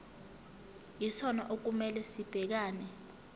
yisona okumele sibhekane